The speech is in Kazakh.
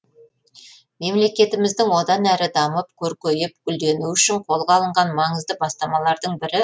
мемлекетіміздің одан әрі дамып көркейіп гүлденуі үшін қолға алынған маңызды бастамалардың бірі